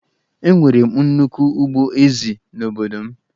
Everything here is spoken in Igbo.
Enwere m nnukwu ugbo ezì n'obodo m